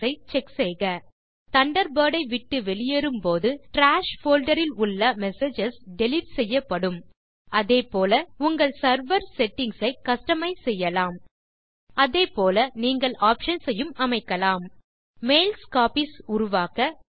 box ஐ check செய்க Thunderbirdஐ விட்டு வெளியேறும் போது டிராஷ் போல்டர் இல் உள்ள மெசேஜஸ் டிலீட் செய்யப்படும் அதே போல நீங்கள் உங்கள் செர்வர் செட்டிங்ஸ் ஐ கஸ்டமைஸ் செய்யலாம் அதே போல நீங்கள் ஆப்ஷன்ஸ் ஐயும் அமைக்கலாம் மெயில்ஸ் காப்பீஸ் உருவாக்க